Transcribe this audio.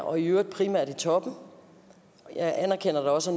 og i øvrigt primært i toppen jeg anerkender at der også